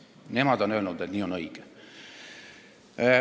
Nemad on öelnud, et nii on õige.